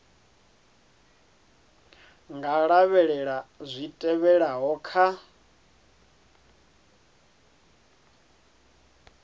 nga lavhelela zwi tevhelaho kha